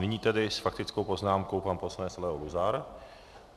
Nyní tedy s faktickou poznámkou pan poslanec Leo Luzar.